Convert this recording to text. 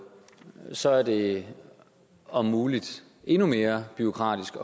så er det om muligt endnu mere bureaukratisk